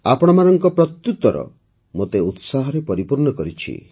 ଆପଣମାନଙ୍କ ପ୍ରତ୍ୟୁତ୍ତର ମୋତେ ଉତ୍ସାହରେ ପରିପୂର୍ଣ୍ଣ କରିଛି